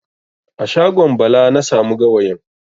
A shagon Bala na samu gawayin.